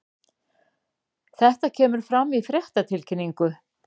Þetta kemur fram í fréttatilkynningu